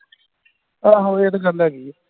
ਆਹੋ ਇਹ ਤੇ ਗੱਲ ਹੇਗੀ ਆ